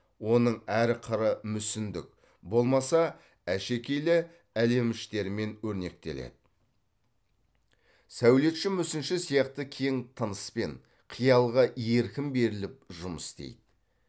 оның әр қыры мүсіндік болмаса әшекейлі әлеміштермен өрнектеледі сәулетші мүсінші сияқты кең тыныспен қиялға еркін беріліп жұмыс істейді